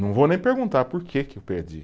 Não vou nem perguntar por que que eu perdi.